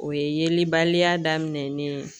O ye yelibaliya daminɛ ni ye